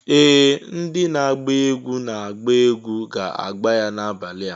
Ee! Ndị na-agba egwu na-agba egwu ga-agbà ya n'abalị a.